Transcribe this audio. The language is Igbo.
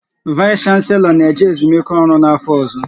Vais Shanselo na eje ezumike ọrụ n'afọ ọzọ